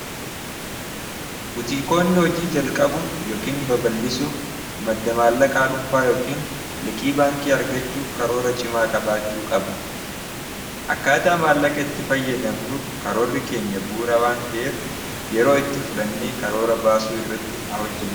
butiikoonni hojii jalqabuuf yookiin babal'isuuf madda maallaqa adhunfaa yookiin liqii baankii argachuuf karoora cimaa qabaachuu qabu akkaataa maallaqa itti fayyadamnuuf karoorri keenya buura waan ta'eef yeroo itti fudhannee karoora baasuu irratti haa hojjene